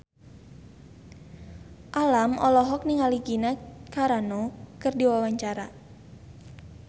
Alam olohok ningali Gina Carano keur diwawancara